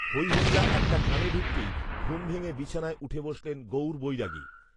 হৈহল্লা একটা কানে ঢুকতেই ঘুম ভেঙে বিছানায় উঠে বসলেন গৌর বৈরাগী